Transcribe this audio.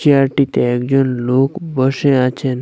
চেয়ারটিতে একজন লোক বসে আছেন।